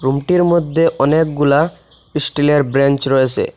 রুমটির মদ্যে অনেকগুলা ইস্টিলের ব্রেন্চ রয়েসে।